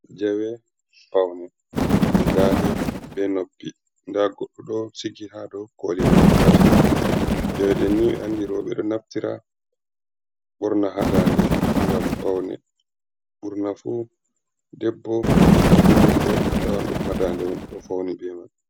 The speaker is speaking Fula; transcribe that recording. Jawe pawne, je dade be noppi, nda goɗɗo ɗo sigi ha dou koli mako tati, jawe ɗen ni andi roɓɓe ɗo naftira ɓorna ha dande ngam paune, ɓurna fu debbo e biddoe debbo a tawan ɗum ha dande doe fauni be man.